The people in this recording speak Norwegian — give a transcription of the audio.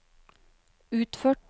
utført